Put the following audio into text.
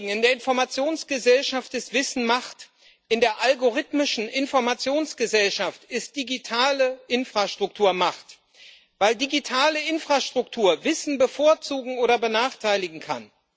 In der Informationsgesellschaft ist Wissen Macht, in der algorithmischen Informationsgesellschaft ist digitale Infrastruktur Macht, weil digitale Infrastruktur Wissen bevorzugen oder benachteiligen kann.